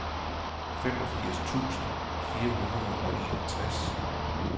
femogfirs tusind fire hundrede og enogtres